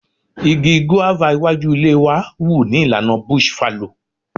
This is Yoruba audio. Igi guava iwájú ilé wa wù ní ìlànà bush fallow.